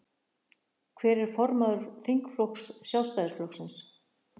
Hver er formaður þingflokks Sjálfstæðisflokksins?